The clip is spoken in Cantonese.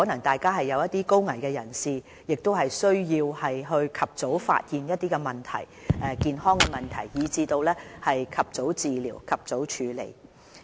第二層是高危人士，他們需要及早發現一些健康問題，以至能及早治療和處理。